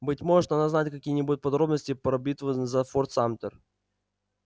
быть может она знает какие-нибудь подробности про битву за форт самтер